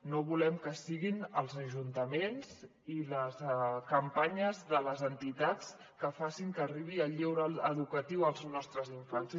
no volem que siguin els ajuntaments i les campanyes de les entitats els que facin que arribi el lleure educatiu als nostres infants